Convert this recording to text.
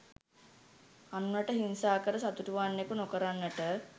අනුනට හිංසා කර සතුටු වන්නකු නොකරන්නට